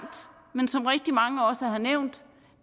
men som rigtig mange også har nævnt